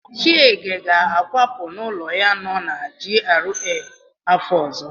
Chiege ga-akwapụ n'ụlọ ya nọ na GRA afọ ọzọ.